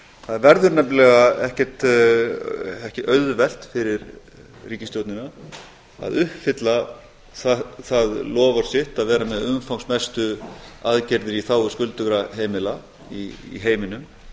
það verður nefnilega ekki auðvelt fyrir ríkisstjórnina að uppfylla það loforð sitt að vera með umfangsmestu aðgerðir í þágu skuldugra heimila í heiminum